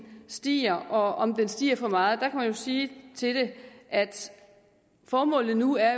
stiger og om den stiger for meget der kan man jo sige til det at formålet nu er